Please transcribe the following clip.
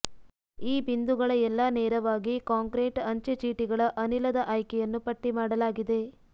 ಈ ಬಿಂದುಗಳ ಎಲ್ಲಾ ನೇರವಾಗಿ ಕಾಂಕ್ರೀಟ್ ಅಂಚೆಚೀಟಿಗಳ ಅನಿಲದ ಆಯ್ಕೆಯನ್ನು ಪಟ್ಟಿಮಾಡಲಾಗಿದೆ